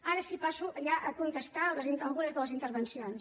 ara sí passo ja a contestar algunes de les intervencions